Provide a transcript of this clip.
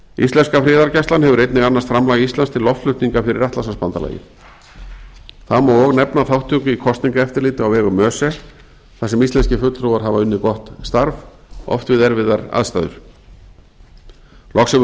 íslenska friðargæslan hefur einnig annast framlag íslands til loftflutninga fyrir atlantshafsbandalagið þá má og nefna þátttöku í kosningaeftirliti á vegum öse þar sem íslenskir fulltrúar hafa unnið gott starf oft við erfiðar aðstæður loks hefur fólk